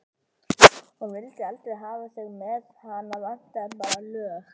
Hún vildi aldrei hafa þig með, hana vantaði bara lög.